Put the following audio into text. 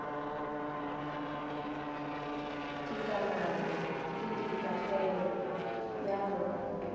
dikamano le dikagego tpa go